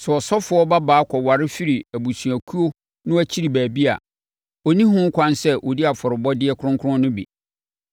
Sɛ ɔsɔfoɔ babaa kɔware firi abusuakuo no akyi baabi a, ɔnni ho kwan sɛ ɔdi afɔrebɔdeɛ kronkron no bi.